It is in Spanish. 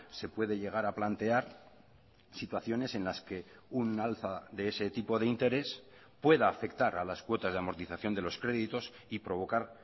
se puede llegar a plantear situaciones en las que un alza de ese tipo de interés pueda afectar a las cuotas de amortización de los créditos y provocar